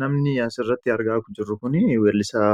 namni asiratti argaa jirru kun weellisaa